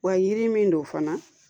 Wa yiri min don fana